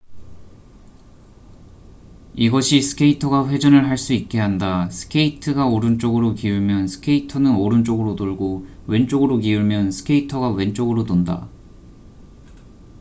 이것이 스케이터가 회전을 할 수 있게 한다 스케이트가 오른쪽으로 기울면 스케이터는 오른쪽으로 돌고 왼쪽으로 기울면 스케이터가 왼쪽으로 돈다